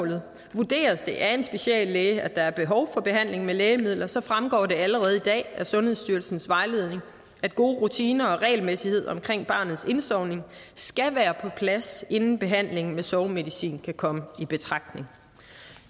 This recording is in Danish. vurderes det af en speciallæge at der er behov for behandling med lægemidler så fremgår det allerede i dag af sundhedsstyrelsens vejledning at gode rutiner og regelmæssighed omkring barnets indsovning skal være på plads inden behandling med sovemedicin kan komme i betragtning